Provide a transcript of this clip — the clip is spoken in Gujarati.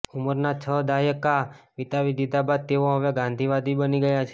ઉંમરના છ દાયકા વિતાવી દિધા બાદ તેઓ હવે ગાંધીવાદી બની ગયા છે